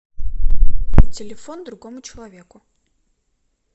телефон другому человеку